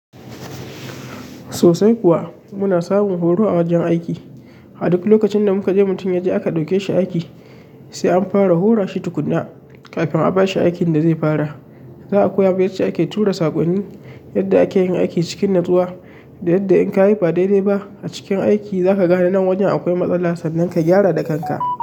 Sosai kuwa, muna samun horo a wajen aiki. A duk lokacin da muka je mutum ya je aka ɗauke shi aiki sai an fara hora shi tukuna kafin a bashi aikin da zai fara. Za a koya masa yace ake tura saƙonni, yadda ake yin aiki cikin natsuwa da yadda in ka kayi ba daidai ba a cikin aiki za ka gane nan wajen akwai matsala sannan ka gyara da kanka.